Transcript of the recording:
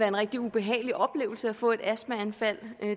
en rigtig ubehagelig oplevelse at få et astmaanfald